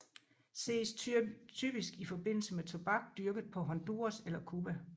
Ses typisk i forbindelse med tobak dyrket på Honduras eller Cuba